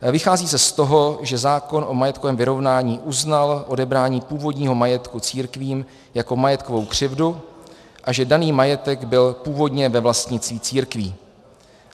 Vychází se z toho, že zákon o majetkovém vyrovnání uznal odebrání původního majetku církvím jako majetkovou křivdu a že daný majetek byl původně ve vlastnictví církví.